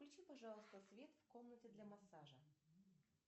включи пожалуйста свет в комнате для массажа